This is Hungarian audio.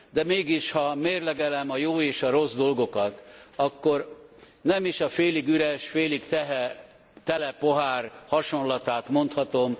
De mégis, ha mérlegelem a jó és a rossz dolgokat, akkor nem is a félig üres, félig tele pohár hasonlatát mondhatom.